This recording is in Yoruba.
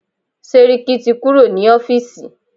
Sẹ́ríkí ti kúrò ní ọ́fìsì.